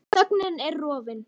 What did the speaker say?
Þögnin er rofin.